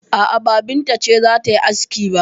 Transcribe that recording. A'a, ba Binta ce za ta yi aski ba.